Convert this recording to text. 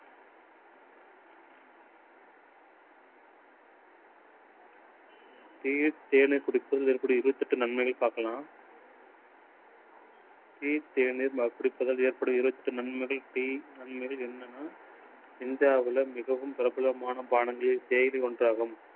tea யில் தேனை குடிப்பது மேற்குறிய இருபத்தெட்டு நன்மையை பார்க்கலாம். tea தேனோடு குடிப்பதால் ஏற்படும் இருபத்தெட்டு நன்மைகள் என்னன்னு இந்தியாவில மிகவும் பிரபலமான பாணங்களில் தேநீரும் ஒன்றாகும்.